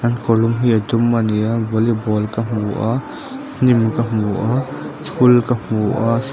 an kawrlum hi a dum a ni a volleyball ka hmu a hnim ka hmu a school ka hmu a.